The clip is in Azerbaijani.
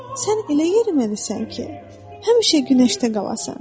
Sən elə yeriməlisən ki, həmişə günəşdə qalasan.